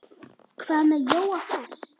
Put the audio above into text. Hvað með Jóa fress?